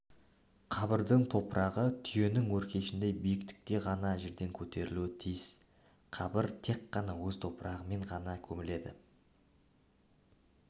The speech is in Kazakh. қабірдің топырағы түйенің өркешіндей биіктікте ғана жерден көтерілуі тиіс қабір тек қана өз топырағымен ғана көміледі